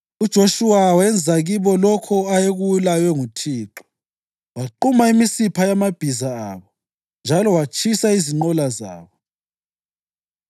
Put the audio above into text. UJoshuwa wenza kibo lokho ayekulaywe nguThixo: Waquma imisipha yamabhiza abo njalo watshisa izinqola zabo.